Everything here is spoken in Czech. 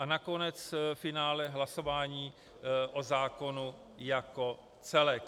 A nakonec ve finále hlasování o zákonu jako celku.